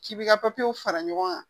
K'i b'i ka papiyew fara ɲɔgɔn kan